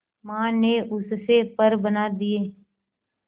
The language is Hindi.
मां ने उससे पर बना दिए